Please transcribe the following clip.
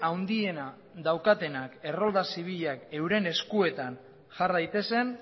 handiena daukatenak errolda zibila euren eskuetan jar daitezen